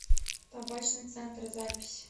табачный центр запись